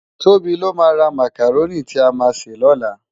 Tobi ló má rá mákáróni ti á má sé lòlá